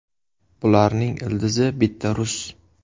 Bularning ildizi bitta rus.